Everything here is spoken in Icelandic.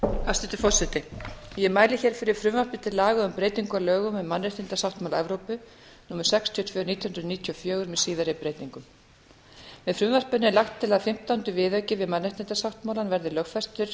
hæstvirtur forseti ég mæli fyrir frumvarpi til laga um breytingu á lögum um mannréttindasáttmála evrópu á sextíu og tvö nítján hundruð níutíu og fjögur með síðari breytingum með frumvarpinu er lagt til að fimmtánda viðauki við mannréttindasáttmálann verði lögfestur